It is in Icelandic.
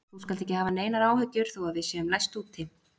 Þú skalt ekki hafa neinar áhyggjur þó að við séum læst úti.